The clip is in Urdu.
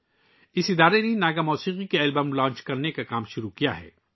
اس تنظیم نے ناگا میوزک البمز لانچ کرنے کا کام شروع کیا ہے